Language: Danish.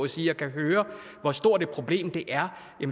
sige og kan høre hvor stort et problem det er